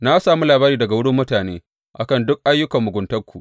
Na sami labari daga wurin mutane a kan duk ayyukan muguntanku.